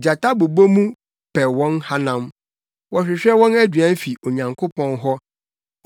Gyata bobɔ mu pɛ wɔn hanam, wɔhwehwɛ wɔn aduan fi Onyankopɔn hɔ.